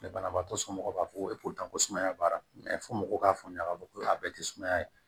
Banabaatɔ somɔgɔw b'a fɔ ko ko sumaya baara fo mɔgɔw k'a faamuya k'a fɔ ko a bɛɛ tɛ sumaya ye